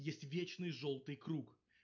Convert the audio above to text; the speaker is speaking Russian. есть вечный жёлтый круг